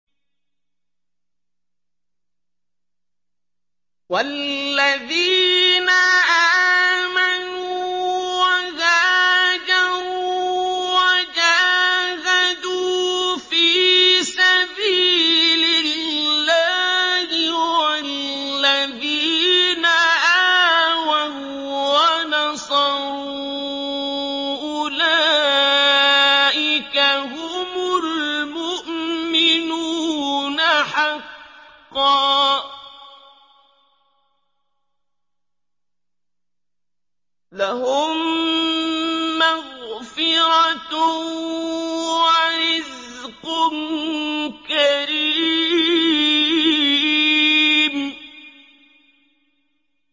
وَالَّذِينَ آمَنُوا وَهَاجَرُوا وَجَاهَدُوا فِي سَبِيلِ اللَّهِ وَالَّذِينَ آوَوا وَّنَصَرُوا أُولَٰئِكَ هُمُ الْمُؤْمِنُونَ حَقًّا ۚ لَّهُم مَّغْفِرَةٌ وَرِزْقٌ كَرِيمٌ